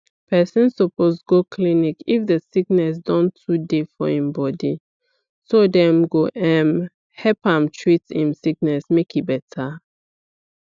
person suppose go clinic if the sickness don too they for im bodyso dem go um help am treat im sickness make e better